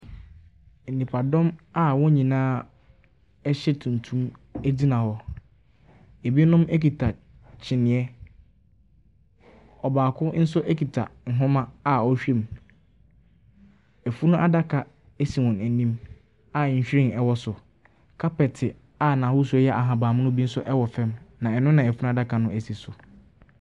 Nnyipadɔm a wɔn nyinaa hyɛ tuntum gyina hɔ. Ebinom kita kyiniiɛ. Ɔbaako nso kita nwoma a ɔrehwɛ mu. Efunu adaka si wɔn anim a nhwiren wɔ so. Kapɛte a ahosu nso yɛ ahabanmono nso wɔ fam. Na ɛno na funu adaka no si so.